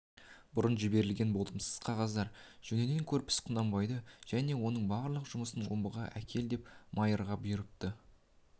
бұрын жіберілген болымсыз қағаздар жөнінен көрпіс құнанбайды және оның барлық жұмысын омбыға әкел деп майырға бұйырыпты